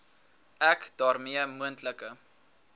ek daarmee moontlike